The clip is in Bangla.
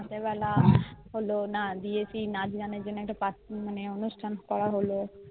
রাতের বেলা হলো না মানে নাচ গানের জন্য একটা অনুষ্ঠান করা হলো